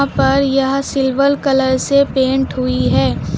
पर यह silver colour से पेंट हुई है।